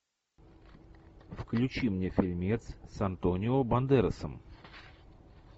включи мне фильмец с антонио бандерасом